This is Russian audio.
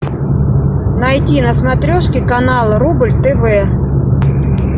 найти на смотрешке канал рубль тв